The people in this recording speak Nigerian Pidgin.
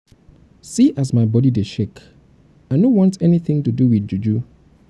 see as my body dey shake. i no um um want anything to do with juju.